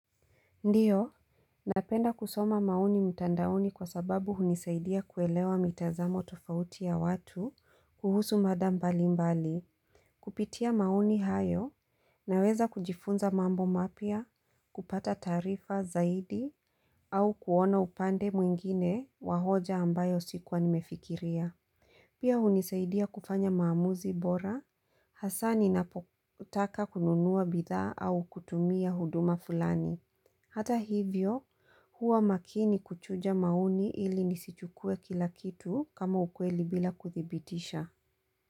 Ndiyo, napenda kusoma maoni mtandaoni kwa sababu hunisaidia kuelewa mitazamo tofauti ya watu kuhusu mada mbalimbali, kupitia maoni hayo, naweza kujifunza mambo mapya, kupata taarifa zaidi, au kuona upande mwingine wahoja ambayo sikuwa nimefikiria. Pia hunisaidia kufanya maamuzi bora, hasa ninapotaka kununuwa bidhaa au kutumia huduma fulani. Hata hivyo, huwa makini kuchuja maoni ili nisichukue kila kitu kama ukweli bila kuthibitisha.